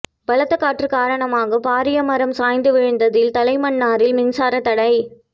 பலத்த காற்று காரணமாக பாரிய மரம் சரிந்து விழுந்ததில் தலைமன்னாரில் மின்சார தடை